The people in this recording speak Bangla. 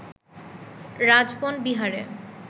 রাজবন বিহারে